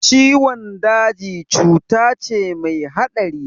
Ciwon daji cuta ce mai haɗari